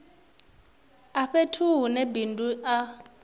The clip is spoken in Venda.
a fhethu hune bindu a